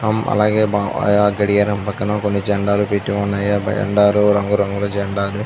అలాగే గడియారం పక్కన కొన్ని జండాలు పెట్టి ఉన్నాయి ఆ జెండాలు రంగు రంగుల జెండాలు.